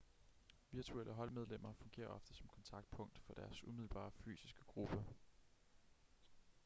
virtuelle holdmedlemmer fungerer ofte som kontaktpunkt for deres umiddelbare fysiske gruppe